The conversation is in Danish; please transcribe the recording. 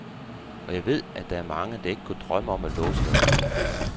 Og jeg ved, at der er mange, der ikke kunne drømme om at låse deres bil.